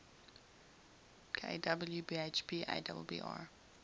kw bhp abbr